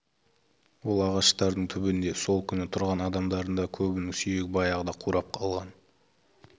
ол ағаштардың түбінде сол күні тұрған адамдардың да көбінің сүйегі баяғыда қурап қалған